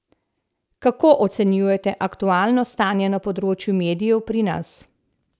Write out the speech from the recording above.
Kako ocenjujete aktualno stanje na področju medijev pri nas?